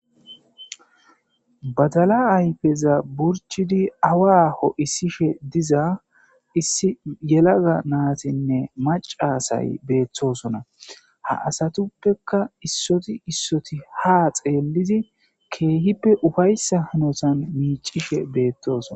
Badala ayfeza burchidi awa aho issishe diza issi yelaga naatinne macasay beettosona ha asatuppekka issoti issoti ha xeellidi keehippe ufayssa hanosan miicishe beettosona